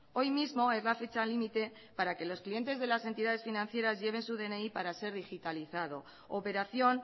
hoy mismo es la fecha límite para que los clientes de las entidades financieras lleven su dni para ser digitalizado operación